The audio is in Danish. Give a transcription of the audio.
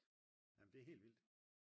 jamen det er helt vildt